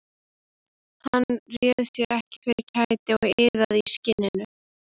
Hann réði sér ekki fyrir kæti og iðaði í skinninu.